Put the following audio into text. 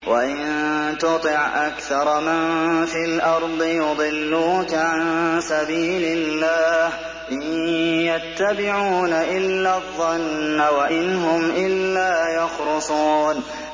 وَإِن تُطِعْ أَكْثَرَ مَن فِي الْأَرْضِ يُضِلُّوكَ عَن سَبِيلِ اللَّهِ ۚ إِن يَتَّبِعُونَ إِلَّا الظَّنَّ وَإِنْ هُمْ إِلَّا يَخْرُصُونَ